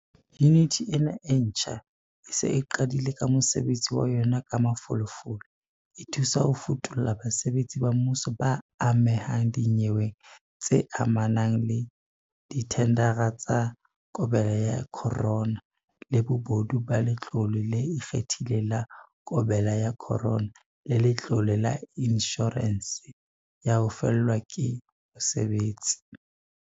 Yuniti ena e ntjha e se e qadile ka mosebetsi wa yona ka mafolofolo, e thusa ho futulla basebetsi ba mmuso ba amehang dinyeweng tse amanang le dithendara tsa COVID-19, le bobodu ba Letlole le Ikgethileng la COVID-19 le Letlole la Inshorense ya ho Fellwa ke Mosebetsi.